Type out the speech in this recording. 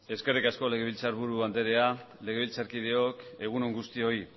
eskerrik asko legebiltzarburu andrea legebiltzarkideok egun on guztioi